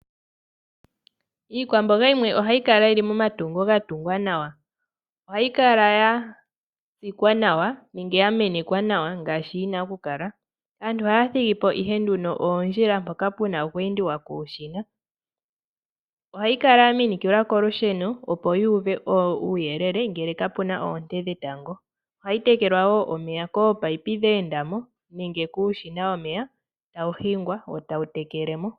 Iikwamboga yimwe ohayi kala yili momatungo ga tungwa nawa. Ohayi kala ya tsikwa nawa nenge ya menekwa nawa ngaashi yi na okukala. Aantu ohaya thigi po ihenduno oondjila mpoka pe na okweendiwa kuushina. Ohayi kala ya minikilwa kolusheno, opo yi uve uuyelele ngele ka pu na oonte dhetango. Ohayi tekelwa wo omeya koopayipi dha enda mo nenge kuushina omeya tawu hingwa wo tawu tekele mo.